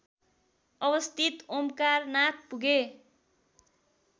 अवस्थित ओमकारनाथ पुगे